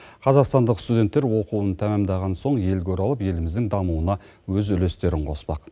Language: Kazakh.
қазақстандық студенттер оқуын тәмамдаған соң елге оралып еліміздің дамуына өз үлестерін қоспақ